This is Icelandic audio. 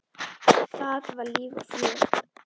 Þar var líf og fjör.